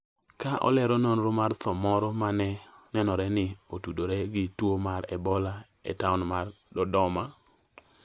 ka olero nonro mar tho moro ma ne nenore ni ne otudore gi tuo mar Ebola e taon mar Dodoma